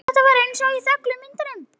En þetta var allt einsog í þöglu myndunum.